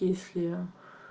если